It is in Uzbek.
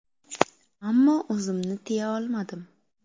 Ammo o‘zimni tiya olmadim.